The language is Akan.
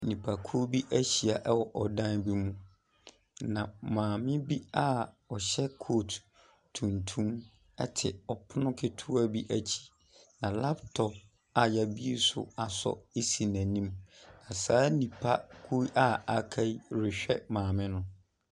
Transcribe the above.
Nipakuo bi ahyia wɔ dan bi mu, na maame bi a ɔhyɛ coat tuntum te ɔpono ketewa bi akyi. Na laptop a wɔabue so asɔ si n'anim. Na saa nipa koro yi a waka yi rehwɛ maame no.